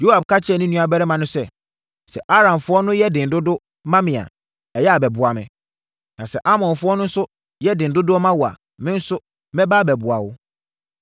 Yoab ka kyerɛɛ ne nuabarima no sɛ, “Sɛ Aramfoɔ no yɛ den dodo ma me a, ɛyɛ a, bɛboa me. Na sɛ Amonfoɔ no nso yɛ den dodo ma wo a, me nso, mɛba abɛboa wo.